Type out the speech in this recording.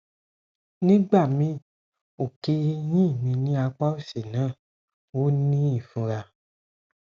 nigbami oke eyin mi ni apa osi na o ni ifunra